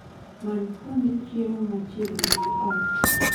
Many kuonde chiemo machiegni gi ot